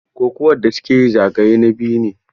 Kokuwar da su ke yi zagaye na biyu ne.